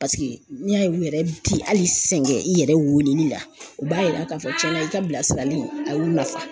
Paseke n'i y'a ye u yɛrɛ ti hali sɛgɛn i yɛrɛ weeleli la u b'a yira k'a fɔ tiɲɛna i ka bilasirali a y'u nafa.